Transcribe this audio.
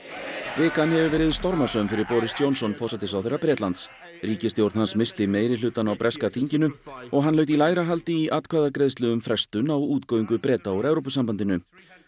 vikan hefur verið stormasöm fyrir Boris Johnson forsætisráðherra Bretlands ríkisstjórn hans missti meirihlutann á breska þinginu og hann laut í lægra haldi í atkvæðagreiðslu um frestun á útgöngu Breta úr Evrópusambandinu